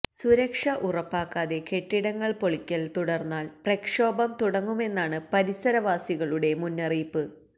സുരക്ഷ ഉറപ്പാക്കാതെ കെട്ടിടങ്ങള് പൊളിക്കൽ തുടർന്നാൽ പ്രക്ഷോഭം തുടങ്ങുമെന്നാണ് പരിസരവാസികളുടെ മുന്നറിയിപ്പ്